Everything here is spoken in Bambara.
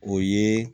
O ye